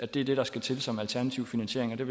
det der skal til som alternativ finansiering